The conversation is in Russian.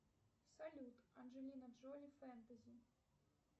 салют анджелина джоли фэнтези